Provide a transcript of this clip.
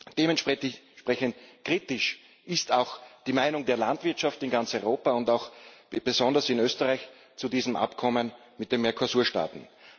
Dementsprechend kritisch ist auch die Meinung der Landwirtschaft in ganz Europa und besonders auch in Österreich zu diesem Abkommen mit den Mercosur Staaten.